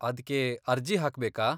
ಅದ್ಕೆ ಅರ್ಜಿ ಹಾಕ್ಬೇಕಾ?